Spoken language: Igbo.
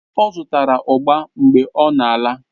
Ọ zụtara ugba mgbe ọ na-ala